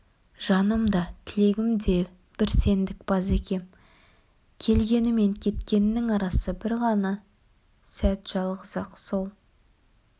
жаным да тілегім де бір сендік базекем келгені мен кеткенінің арасы бір ғана сәт жалғыз-ақ сол